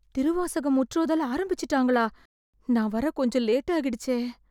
திருவாசகம் முற்றோதல் ஆரம்பிச்சுட்டாங்களா? நான் வர கொஞ்சம் லேட்டாகிடுச்சே.